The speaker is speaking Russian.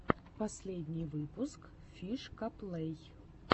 последний выпуск фишкаплэй